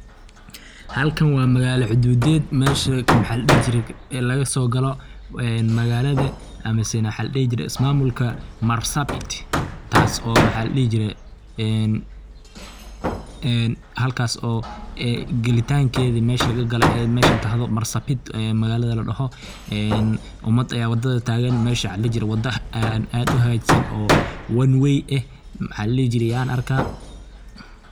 halkan waa magala xuduudey, mesha maxa ladhihi jiree ee lagasoo galo magalada ama mesen maxa ladhihi jire ismamulka marsabit taaso maxa ladhihi jiree een halkaaso een gelintankeda meshi laga lagalo ay meshan tahdho marsabit magalada ladhoho een umad aya wadada tagan, mesha maxa ladhihi jire wada aad uhagajisan oo one way eh maxaa ladhihi jire yan arkaa